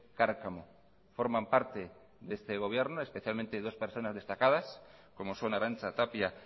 cárcamo forman parte de este gobierno especialmente dos personas destacadas como son arantza tapia